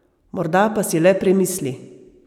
Morda pa si le premisli.